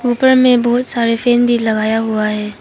ऊपर में बहुत सारे फेन भी लगाया हुआ है।